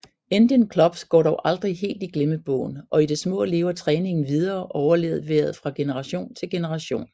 Indian Clubs går dog aldrig helt i glemmebogen og i det små lever træningen videre overleveret fra generation til generation